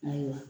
Ayiwa